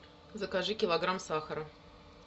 закажи килограмм сахара